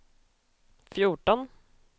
fjorton